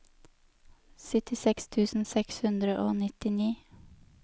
syttiseks tusen seks hundre og nittini